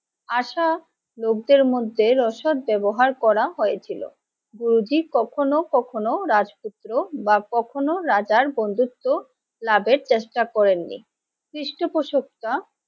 আসা লোকদের মধ্যে অসৎ ব্যাবহার করা হয়েছিল। গুরুজী কখনো কখনো রাজপুত্র বা কখনো রাজার বন্ধুত্ব লাভের চেষ্টা করেননি। পৃষ্ঠপোষকতা,